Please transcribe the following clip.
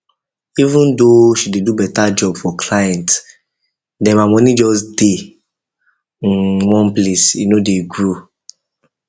um even though she dey do better job for client dem her money just dey um one place e no dey grow